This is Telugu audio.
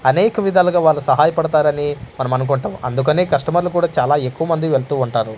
అనేక విధాలుగా వాళ్ళు సహాయపడతారని మనము అనుకుంటాం అందుకనే కస్టమర్లు కూడ చాలా ఎక్కువ మంది వెళ్తూ ఉంటారు.